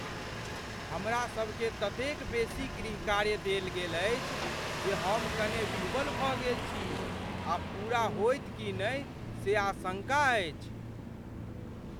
हमरासभकेँ ततेक बेसी गृहकार्य देल गेल अछि जे हम कने विह्वल भऽ गेल छी आ पूरा होयत की नहि से आशंका अछि।